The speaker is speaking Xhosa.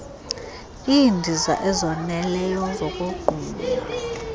iindiza ezoneleyo zokogquma